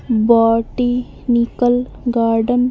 botanical garden --